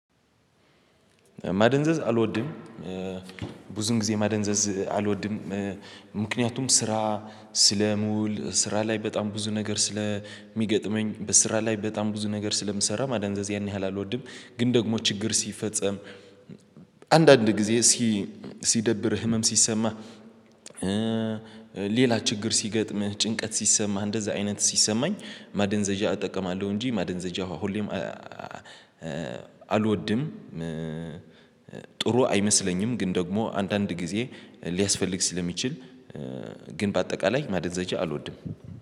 ማደንዘዝ አልወድም ብዙም ጊዜ ማደንዘዝ አልወድም። ምክንያቱም ስራ ስለምውል ስራ ላይ በጣም ብዙ ነገር ስለሚገጥመኝ በስራ ላይ በጣም ብዙ ነገር ስለምሰራ ማዳንዘዝ ያን ያህል አልወድም። ግን ደግሞ ችግር ሲፈጸም አንዳንድ ጊዜ ሲ ሲደብር ህመም ሲሰማ። ሌላ ችግር ሲገጥምህ ጭንቀት ሲሰማህ እንደዛ አይነት ሲሰማኝ ማደንዘዣ እጠቀማለሁ እንጂ ማደንዘዣ ሁሌም አልወድም። ጥሩ አይመስለኝም ግን ደግሞ አንዳንድ ጊዜ ሊያስፈልግ ስለሚችል ግን በአጠቃላይ ማደንዘዣ አልወድም